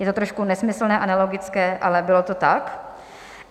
Je to trošku nesmyslné a nelogické, ale bylo to tak.